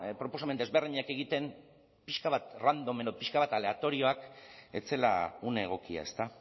proposamen desberdinak egiten pixka bat random edo pixka bat aleatorioak ez zela une egokia ezta